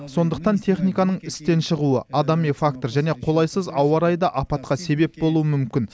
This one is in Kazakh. сондықтан техниканың істен шығуы адами фактор және қолайсыз ауа райы да апатқа себеп болуы мүмкін